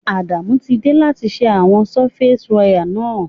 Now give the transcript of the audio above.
Adamu ti de láti se àwon surface wire náà